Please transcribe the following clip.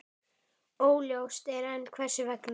Óljóst er enn hvers vegna.